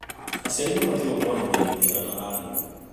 Aciari mabatiĩ gũkorwo na mĩario mĩega na arimũ.